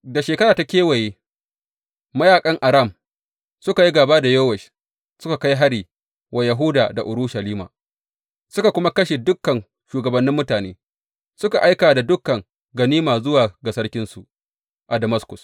Da shekara ta kewaye, mayaƙan Aram suka yi gāba da Yowash suka kai hari wa Yahuda da Urushalima suka kuma kashe dukan shugabannin mutane, suka aika da dukan ganima zuwa ga sarkinsu a Damaskus.